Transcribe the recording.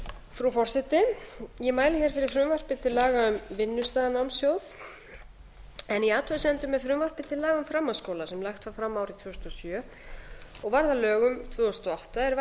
frú forseti ég mæli hér fyrir frumvarpi til laga um vinnustaðanámssjóð en í frumvarpi til laga um framhaldsskóla sem lagt var fram árið tvö þúsund og sjö og varð að lögum tvö þúsund og átta er